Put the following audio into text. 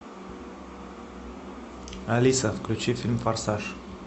алиса включи фильм форсаж